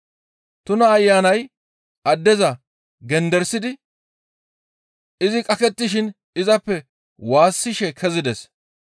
Tuna ayanay addeza genderisidi izi qakettishin izappe waassishe kezides.